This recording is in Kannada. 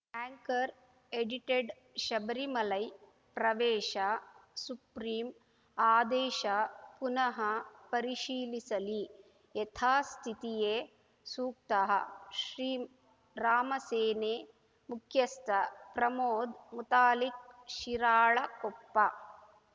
ಆಂಕರ್‌ ಎಡಿಟೆಡ್‌ ಶಬರಿಮಲೈ ಪ್ರವೇಶ ಸುಪ್ರಿಂ ಆದೇಶ ಪುನಃ ಪರಿಶೀಲಿಸಲಿ ಯಥಾಸ್ಥಿತಿಯೇ ಸೂಕ್ತ ಶ್ರೀರಾಮಸೇನೆ ಮುಖ್ಯಸ್ಥ ಪ್ರಮೋದ್‌ ಮುತಾಲಿಕ್‌ ಶಿರಾಳಕೊಪ್ಪ